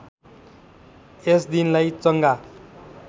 यस दिनलाई चङ्गा